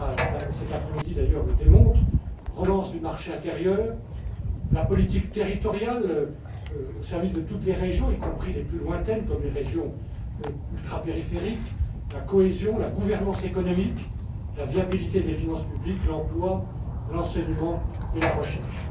Le débat, cet après midi d'ailleurs, le démontre la relance du marché intérieur, la politique territoriale au service de toutes les régions, y compris les plus lointaines comme les régions ultrapériphériques, la cohésion, la gouvernance économique, la viabilité des finances publiques, l'emploi, l'enseignement et la recherche.